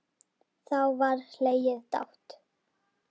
Þá var hlegið dátt.